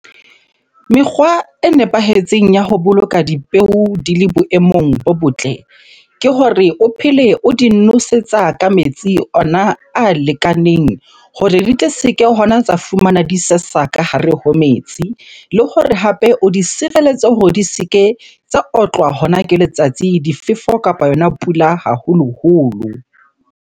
Mekgwa e nepahetseng ya ho boloka dipeo di le boemong bo botle ke hore o phele o di nosetsa ka metsi ona a lekaneng hore di tle se ke hona tsa fumanwa di sesa ka hare ho metsi. Le hore hape o di sireletse hore di se ke tsa otlwa hona ke letsatsi, difefo kapa yona pula haholoholo.